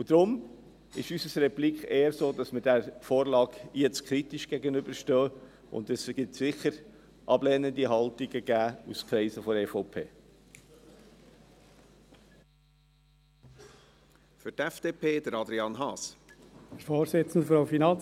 Deshalb ist unsere Replik eher, dass wir dieser Vorlage kritisch gegenüberstehen, und es wird aus den Kreisen der EVP sicher ablehnende Haltungen geben.